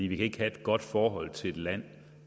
vi kan ikke have et godt forhold til et land